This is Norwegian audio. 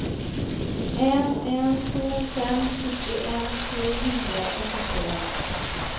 en en to fem syttien to hundre og syttien